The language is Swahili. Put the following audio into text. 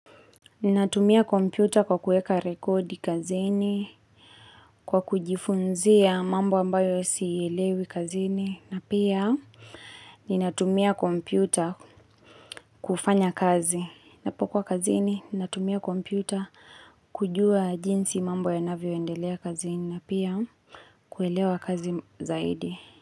Ninatumia kompyuta kwa kuweka rekodi kazini, kwa kujifunzia mambo ambayo siyaelewi kazini, na pia ninatumia kompyuta kufanya kazi. Ninapokuwa kazini, ninatumia kompyuta kujua jinsi mambo yanavyoendelea kazini, na pia kuelewa kazi zaidi.